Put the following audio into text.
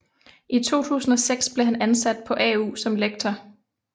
I 2006 blev han ansat på AU som lektor